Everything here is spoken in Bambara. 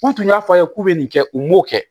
N'u tun y'a fɔ a ye k'u bɛ nin kɛ u m'o kɛ